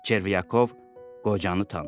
Çervyakov qocanı tanıdı.